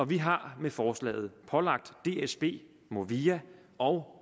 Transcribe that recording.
vi har med forslaget pålagt dsb movia og